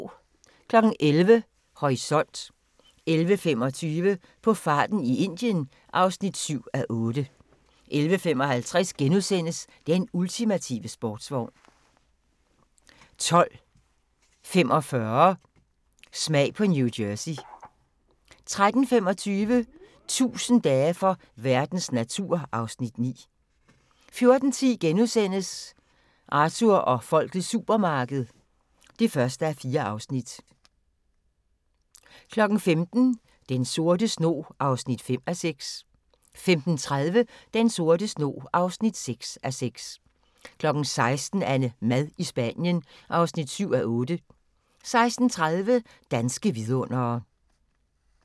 11:00: Horisont 11:25: På farten i Indien (7:8) 11:55: Den ultimative sportsvogn * 12:45: Smag på New Jersey * 13:25: 1000 dage for verdens natur (Afs. 9) 14:10: Arthur og folkets supermarked (1:4)* 15:00: Den sorte snog (5:6) 15:30: Den sorte snog (6:6) 16:00: AnneMad i Spanien (7:8) 16:30: Danske vidundere